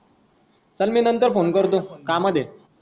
चाल मी नंतर फोन करतो कामात आहे,